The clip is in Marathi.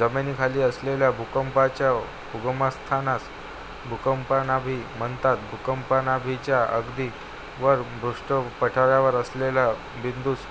जमिनीखाली असलेल्या भूकंपाच्या उगमस्थानास भूकंपनाभी म्हणतात भूकंपनाभीच्या अगदी वर भूपृष्ठावर असलेल्या बिंदूस